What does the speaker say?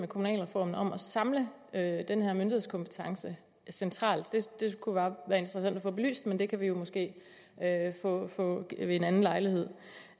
kommunalreformen om at samle den her myndighedskompetence centralt det kunne være interessant at få belyst men det kan vi jo måske få ved en anden lejlighed